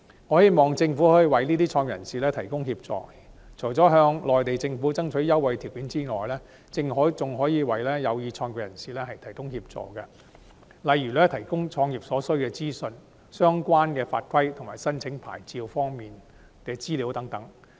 我希望政府可以為這些創業人士提供協助，除了向內地政府爭取優惠條件外，還可以為有意創業的人士提供協助，例如提供創業所需資訊、相關法規及申請牌照方面的資料等。